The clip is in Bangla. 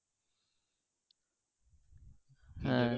হ্যাঁ